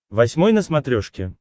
восьмой на смотрешке